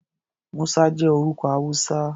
Musa jẹ́ orúkọ Hausa.